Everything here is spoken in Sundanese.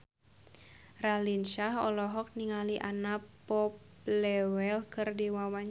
Raline Shah olohok ningali Anna Popplewell keur diwawancara